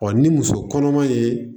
ni muso kɔnɔma ye